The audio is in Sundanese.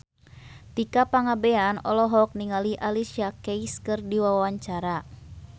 Tika Pangabean olohok ningali Alicia Keys keur diwawancara